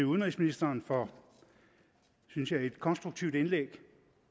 udenrigsministeren for synes jeg et konstruktivt indlæg